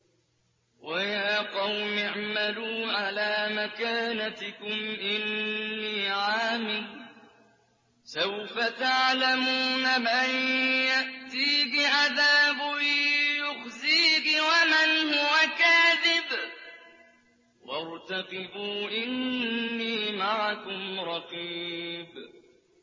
وَيَا قَوْمِ اعْمَلُوا عَلَىٰ مَكَانَتِكُمْ إِنِّي عَامِلٌ ۖ سَوْفَ تَعْلَمُونَ مَن يَأْتِيهِ عَذَابٌ يُخْزِيهِ وَمَنْ هُوَ كَاذِبٌ ۖ وَارْتَقِبُوا إِنِّي مَعَكُمْ رَقِيبٌ